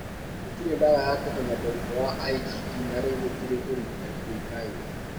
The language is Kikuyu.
Gũtirĩ ndawa ya kũhonia mũrimũ wa IgD na rĩu gũtirĩ ũrigitani ũĩkaine.